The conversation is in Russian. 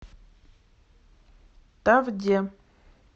тавде